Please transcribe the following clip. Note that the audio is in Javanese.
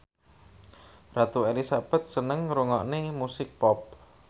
Ratu Elizabeth seneng ngrungokne musik pop